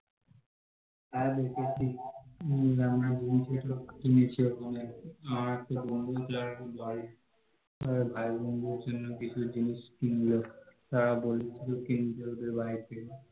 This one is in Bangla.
হ্যাঁ দেখেছি, আমরা বন্ধুরা সব কিনেছে ওখান থেকে, আমার একটা বন্ধু তার বাড়ির জন্য কিছু জিনিস কিনলো, তারা বলেছিলো কিনতে ওদের বাড়ির থেকে